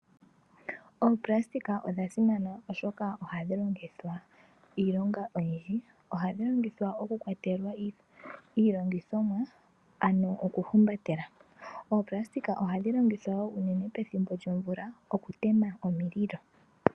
Oopulasitika odhasimana oshoka ohadhi longithwa iilonga oyindji. Ohadhi longithwa okukwatelwa iilongithomwa ano okuhumbatela. Oopulasitika ohadhi longithwa wo unene pethimbo lyomvula okutema omililo.